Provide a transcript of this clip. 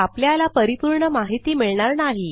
तर आपल्याला परिपूर्ण माहिती मिळणार नाही